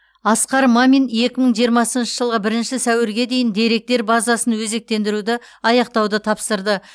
асқар мамин екі мың жиырмасыншы жылғы бірінші сәуірге дейін деректер базасын өзектендіруді аяқтауды тапсырды